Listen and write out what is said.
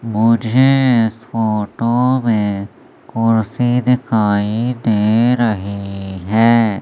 मुझे इस फोटो में कुर्सी दिखाई दे रही है।